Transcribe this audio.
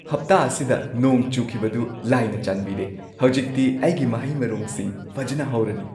ꯍꯞꯇꯥ ꯑꯁꯤꯗ ꯅꯣꯡ ꯆꯨꯈꯤꯕꯗꯨ ꯂꯥꯏꯅ ꯆꯥꯟꯕꯤꯔꯦ꯫ ꯍꯧꯖꯤꯛꯇꯤ ꯑꯩꯒꯤ ꯃꯍꯩ-ꯃꯔꯣꯡꯁꯤꯡ ꯐꯖꯅ ꯍꯧꯔꯅꯤ꯫